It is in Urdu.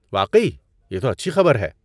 واقعی؟ یہ تو اچھی خبر ہے۔